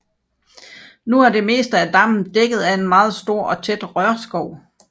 Nu er det meste af dammen dækket af en meget stor og tæt rørskov